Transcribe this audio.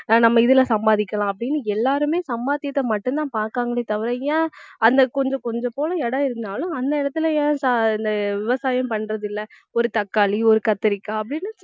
அஹ் நம்ம இதுல சம்பாதிக்கலாம் அப்படின்னு எல்லாருமே சம்பாத்தியத்தை மட்டும்தான் பார்க்கிறாங்களே தவிர ஏன் அந்த கொஞ்சம் கொஞ்சம் போல இடம் இருந்தாலும் அந்த இடத்துல ஏன் சா~ இந்த விவசாயம் பண்றதில்லை ஒரு தக்காளி ஒரு கத்தரிக்கா அப்படினு